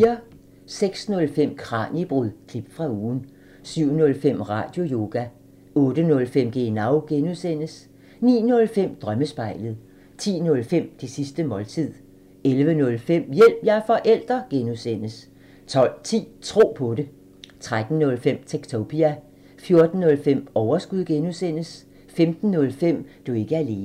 06:05: Kraniebrud – klip fra ugen 07:05: Radioyoga 08:05: Genau (G) 09:05: Drømmespejlet 10:05: Det sidste måltid 11:05: Hjælp – jeg er forælder! (G) 12:10: Tro på det 13:05: Techtopia 14:05: Overskud (G) 15:05: Du er ikke alene